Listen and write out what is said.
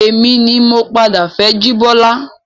Èmi ni mo padà fẹ́ jibola